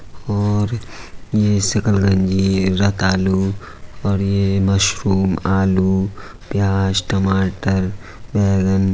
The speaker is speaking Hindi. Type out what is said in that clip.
और ये शकरकंजी है रतालू और ये मशरूम आलू प्याज टमाटर बैंगन --